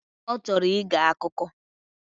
Ọchọrọ ige akụkọ.